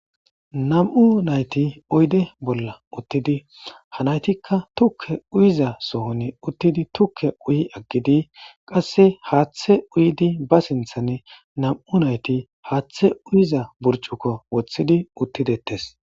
nam7u nayti oyde bolla uttidi hanaytikka tukke uyiza sohon uttidi tukke uyi aggidi qasse haaththe uyidi ba sinthanne nam7u nayti haaththe uyiza burcukko woththidi uttidettes